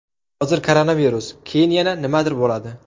Hozir koronavirus, keyin yana nimadir bo‘ladi.